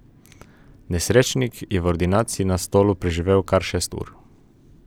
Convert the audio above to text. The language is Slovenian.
Nesrečnik je v ordinaciji na stolu preživel kar šest ur.